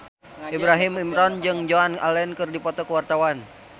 Ibrahim Imran jeung Joan Allen keur dipoto ku wartawan